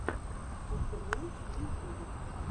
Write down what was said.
авто ремонт в ютьюбе